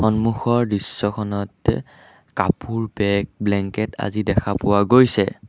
সন্মুখৰ দৃশ্যখনত কাপোৰ বেগ ব্লেংকেত আজি দেখা পোৱা গৈছে।